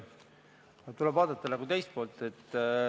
Tuleb vaadata nagu teist poolt.